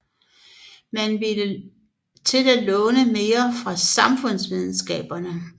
Man ville til at låne mere fra samfundsvidenskaberne